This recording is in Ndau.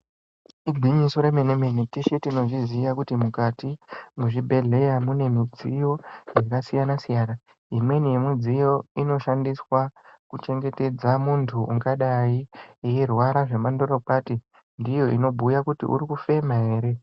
Igwinyiso rememe mene ,teshe tinozviziya kuti mukati mezvibhehleya mune midziyo yakasiyana siyana .Imweni yemidziyo inoshandiswa kuchengetedza muntu ungadai eirwara zvemandorokwati ,ndiyo unobhuya kuti urikufema ere.